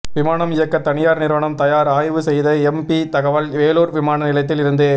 விமானம் இயக்க தனியார் நிறுவனம் தயார் ஆய்வு செய்த எம்பி தகவல் வேலூர் விமான நிலையத்தில் இருந்து